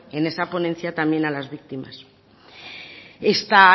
en esa ponencia también a las víctimas esta